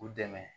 U dɛmɛ